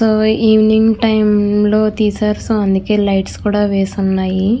Evening time లో తీసారు so అందుకే లైట్స్ కూడా వేసి ఉన్నాయి.